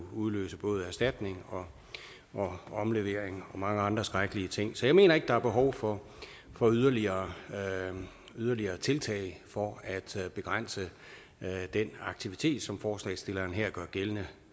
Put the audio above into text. udløse både erstatning omlevering og mange andre skrækkelige ting så jeg mener ikke at der er behov for for yderligere yderligere tiltag for at begrænse den aktivitet som forslagsstillerne her gør gældende